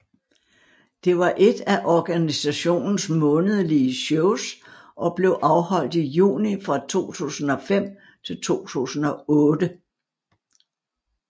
Det var ét af organisationens månedlige shows og blev afholdt i juni fra 2005 til 2008